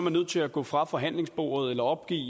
nødt til at gå fra forhandlingsbordet eller opgive